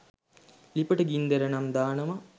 ලිපට ගින්දර නම් දානවා.